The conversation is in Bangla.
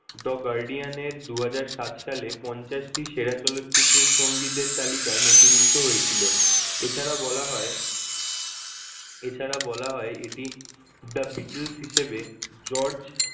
The Guardian এর দুহাজার সাত সালে পঞ্চাশটি সেরা চলচ্চিত্রের সংগীতের তালিকায় নথিভুক্ত হয়েছিল এছাড়া বলা হয় এছাড়া বলা হয় এটি The Beatles হিসেবে George